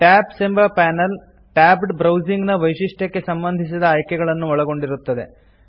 tabs ಎಂಬ panel tabbed browsing ನ ವೈಶಿಷ್ಟ್ಯಕ್ಕೆ ಸಂಬಂಧಿಸಿದ ಆಯ್ಕೆಗಳನ್ನು ಒಳಗೊಂಡಿರುತ್ತದೆ